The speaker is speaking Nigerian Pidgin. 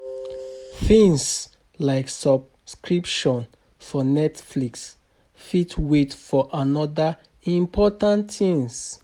Things like subscription for Netflix fit wait for oda important things